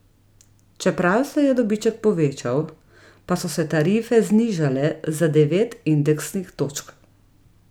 Čeprav se je dobiček povečal, pa so se tarife znižale za devet indeksnih točk.